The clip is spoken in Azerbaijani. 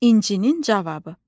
İncinin cavabı.